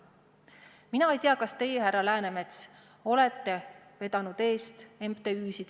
Mina ei tea, kas teie, härra Läänemets, olete vedanud MTÜ-sid.